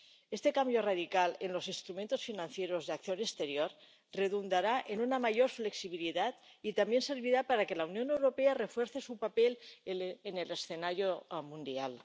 Este cambio radical en los instrumentos financieros de acción exterior redundará en una mayor flexibilidad y también servirá para que la Unión Europea refuerce su papel en el escenario mundial.